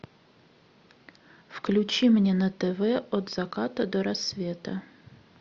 включи мне на тв от заката до рассвета